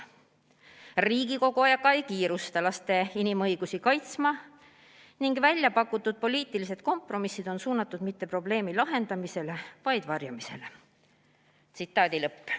Riigikogu aga ei kiirusta laste inimõigusi kaitsma ning väljapakutud poliitilised kompromissid on suunatud mitte probleemi lahendamisele, vaid varjamisele.